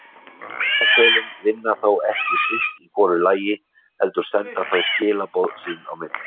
Heilahvelin vinna þó ekki sitt í hvoru lagi heldur senda þau skilaboð sín á milli.